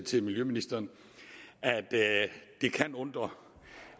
til miljøministeren at det kan undre